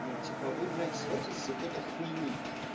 ну типа вы блять срётесь из-за какой-то хуйни